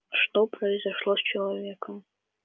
что произошло с человеком